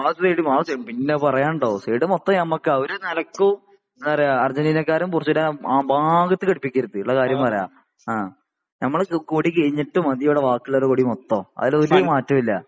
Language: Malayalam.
ആ സൈഡ് പിന്നെ പറയാനുണ്ടോ സൈഡ് മൊത്തം നമുക്കാ ഒരു നിലക്കും എന്താ പറയാ ആർജെന്റിന ക്കാരെ ആ ഭാഗത്തേക്ക് അടുപ്പിക്കരുത് ഇള്ള കാരീയം പറയാ ആ ഞമ്മളെ കൊടി കഴിഞ്ഞിട്ട് മതി ഇവിടെ ബാക്കി ഉള്ളവരുടെയൊക്കെ കൊടി മൊത്തം അതിലൊരു മാറ്റവും ഇല്ല .